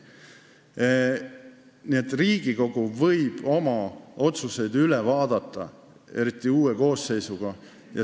Aga Riigikogu võib oma otsuseid üle vaadata, eriti uue koosseisuga.